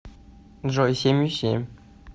джой семью семь